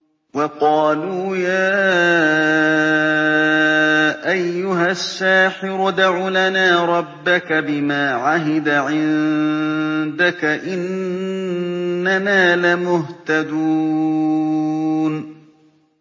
وَقَالُوا يَا أَيُّهَ السَّاحِرُ ادْعُ لَنَا رَبَّكَ بِمَا عَهِدَ عِندَكَ إِنَّنَا لَمُهْتَدُونَ